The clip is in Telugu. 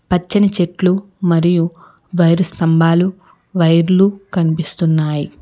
పచ్చని చెట్లు మరియు వైరు స్తంభాలు వైర్లు కనిపిస్తున్నాయి.